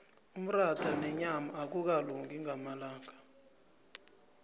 umratha nenyama akukalungi ngamalanga